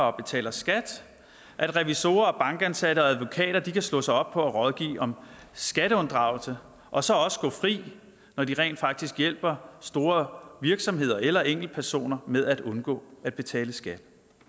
og betaler skat at revisorer bankansatte og advokater kan slå sig op på at rådgive om skatteunddragelse og så også gå fri når de rent faktisk hjælper store virksomheder eller enkeltpersoner med at undgå at betale skat